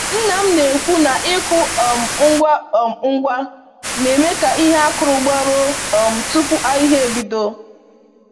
Nna m na-ekwu na ịkụ um ngwa um ngwa na-eme ka ihe a kụrụ gbaruo um tupu ahịhịa ebido.